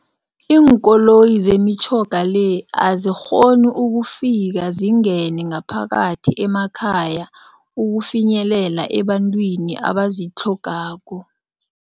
Iinkoloyi zemitjhoga le azikghoni ukufika zingene ngaphakathi emakhaya ukufinyelela ebantwini abazitlhogako.